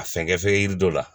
A fɛnkɛ fɛn yiri dɔ la